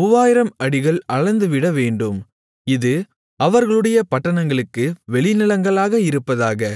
3000 அடிகள் அளந்துவிடவேண்டும் இது அவர்களுடைய பட்டணங்களுக்கு வெளிநிலங்களாக இருப்பதாக